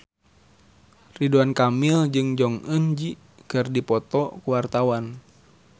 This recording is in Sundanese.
Ridwan Kamil jeung Jong Eun Ji keur dipoto ku wartawan